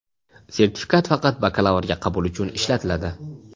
Sertifikat faqat bakalavrga qabul uchun ishlatiladi.